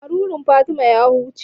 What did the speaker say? Marurun Fatima ya wuce.